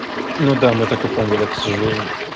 ну да мы так и поняли к сожалению